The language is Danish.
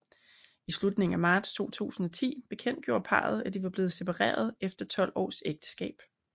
I slutningen af marts 2010 bekendtgjorde parret at de var blevet separeret efter 12 års ægteskab